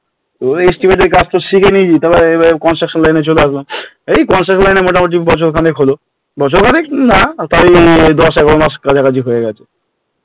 তো এর কাজ তো শিখে নিয়েছি এবার এ চলে আসলাম এই এ মোটামুটি বছর খানেক হল বছর খানেক না তাও দশ এগার মাসের কাছাকাছি হয়ে গেল